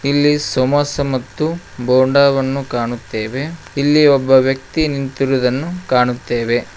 ಇಲ್ಲಿ ಸಮೋಸ ಮತ್ತು ಬೋಂಡವನ್ನು ಕಾಣುತ್ತೇವೆ ಇಲ್ಲಿ ಒಬ್ಬ ವ್ಯಕ್ತಿ ನಿಂತಿರುವುದನ್ನು ಕಾಣುತ್ತೇವೆ.